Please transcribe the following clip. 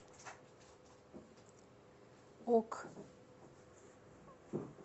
ок